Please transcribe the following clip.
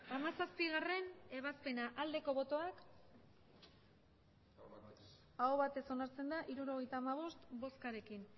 hamazazpigarrena ebazpena aldeko botoak emandako botoak hirurogeita hamabost bai hirurogeita hamabost aho batez onartzen da hirurogeita hamabost boskarekin